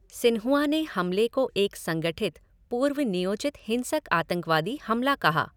Xinhua ने हमले को एक संगठित, पूर्व नियोजित हिंसक आतंकवादी हमला कहा।